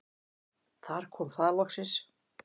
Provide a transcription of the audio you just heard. Þar kom það loksins.